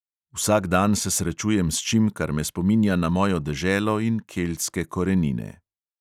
Vsak dan se srečujem s čim, kar me spominja na mojo deželo in keltske korenine.